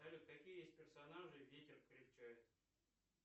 салют какие есть персонажи ветер крепчает